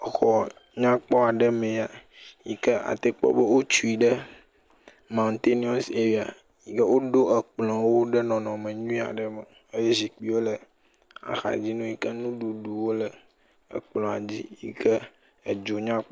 Exɔ nyakpɔ aɖe mee ya yi ke ate kpɔ be wotui ɖe mawuteniɔs eria, tik e woɖo ekplɔ̃wo ɖe nɔnɔme nyuie aɖe me eye zikpiwo axadzi nɛ yi ke nuɖuɖuwo le ekplɔ̃a dzi yi ke edu nya kpɔ.